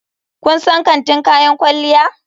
Kun san kantin kayan kwalliya?